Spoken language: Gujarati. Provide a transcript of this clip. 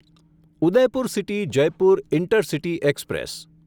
Udaipur city Jaipur intercity express